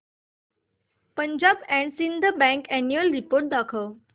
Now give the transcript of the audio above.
Punjab and Sind Bank annual report दाखव